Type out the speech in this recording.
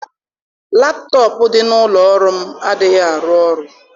Laptọọpụ dị n'ụlọ ọrụ m adịghị arụ ọrụ.